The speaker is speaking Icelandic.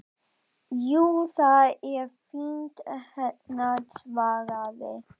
Jú, það er fínt hérna svaraði